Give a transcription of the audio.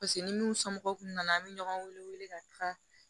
Paseke ni n'u somɔgɔw kun nana an bɛ ɲɔgɔn wele ka taa